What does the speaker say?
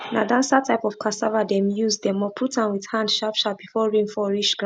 na dancer type of cassava dem use dem uproot am with hand sharpsharp before rain fall reach ground